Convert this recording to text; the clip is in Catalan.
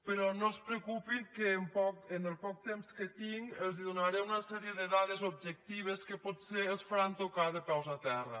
però no es preocupin que en el poc temps que tinc els donaré una sèrie de dades objectives que potser els faran tocar de peus a terra